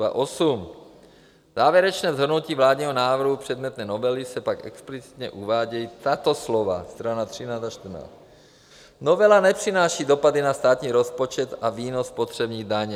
V závěrečném shrnutí vládního návrhu předmětné novely se pak explicitně uvádějí tato slova - strana 13 a 14: Novela nepřináší dopady na státní rozpočet a výnos spotřební daně.